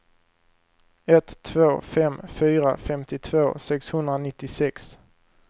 ett två fem fyra femtiotvå sexhundranittiosex